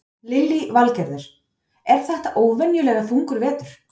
Lillý Valgerður: Er þetta óvenjulega þungur vetur?